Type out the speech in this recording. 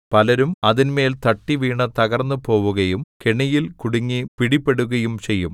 പലരും അതിന്മേൽ തട്ടിവീണു തകർന്നുപോവുകയും കെണിയിൽ കുടുങ്ങി പിടിപെടുകയും ചെയ്യും